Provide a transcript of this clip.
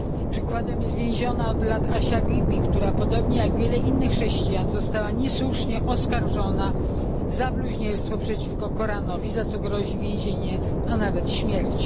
Przykładem jest więziona od lat Asia Bibi, która podobnie jak wielu innych chrześcijan została niesłusznie oskarżona o bluźnierstwo przeciwko Koranowi, za co grozi więzienie, a nawet śmierć.